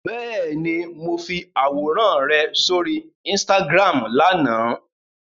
Bẹ́ẹ̀ni, mo fi àwòrán rẹ sóri Instagram lánàá.